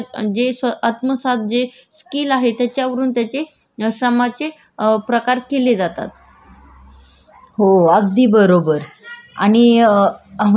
हो अगदी बरोबर आणि अ म्हणजे श्रमामध्ये आहेना कष्ट करतात लहान मुलं पण कष्ट करतात आणि पुरुषही करतात